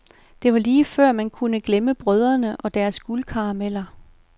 Det var lige før, man kunne glemme brødrene og deres guldkarameller.